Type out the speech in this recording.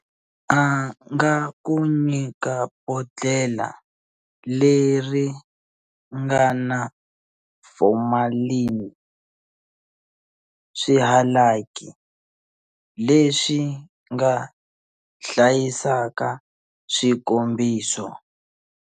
A nga ku nyika bodlhela leri nga na formalini, swihalaki leswi nga hlayisaka swikombiso.